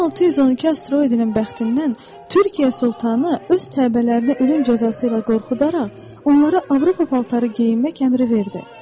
V612 asteroidinin bəxtindən Türkiyə sultanı öz təbəələrinə ölüm cəzası ilə qorxudaraq, onlara Avropa paltarı geyinmək əmri verdi.